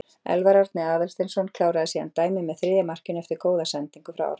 Elfar Árni Aðalsteinsson kláraði síðan dæmið með þriðja markinu eftir góða sendingu frá Árna.